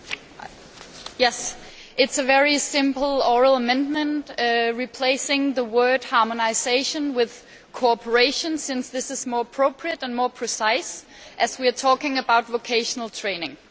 Mr President, yes, it is a very simple oral amendment replacing the word harmonisation' with cooperation' since this is more appropriate and more precise as we are talking about vocational training.